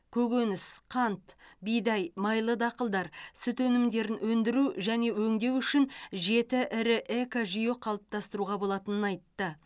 көкөніс қант бидай майлы дақылдар сүт өнімдерін өндіру және өңдеу үшін жеті ірі экожүйе қалыптастыруға болатынын айтты